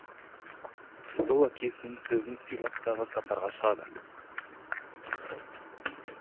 сол әкесінің сөзін сыйлап тағы сапарға шығады